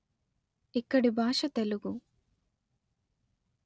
ఇక్కడి భాష తెలుగు